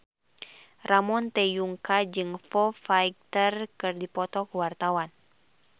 Ramon T. Yungka jeung Foo Fighter keur dipoto ku wartawan